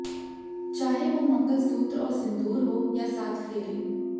चाहे वो मंगलसूत्र और सिंदूर हो या सात फेरे